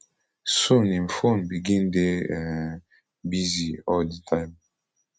soon im phone begin dey um busy all di time